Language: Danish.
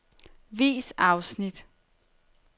Vis afsnit.